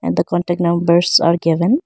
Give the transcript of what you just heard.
and the contact numbers are given.